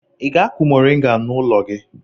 Ị ga-akụ mọrịnga n'ụlọ gị?